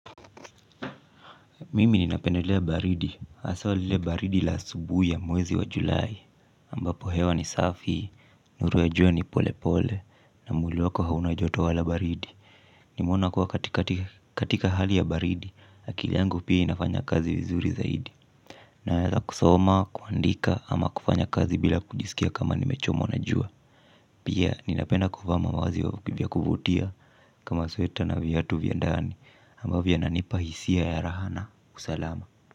Mimi ninapendelea baridi, haswa lile baridi la asubuhi ya mwezi wa julai, ambapo hewa ni safi, nuru ya jua ni pole pole, na mwili wako hauna joto wala baridi. Nimeona kuwa katika hali ya baridi, akili yangu pia inafanya kazi vizuri zaidi. Naeza kusoma, kuandika, ama kufanya kazi bila kujisikia kama nimechomwa na jua. Pia ninapenda kuvaa mavazi ya kuvutia kama sweta na viatu vya ndani, ambavyo vinanipa hisia ya raha na usalama.